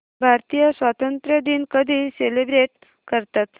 भारतीय स्वातंत्र्य दिन कधी सेलिब्रेट करतात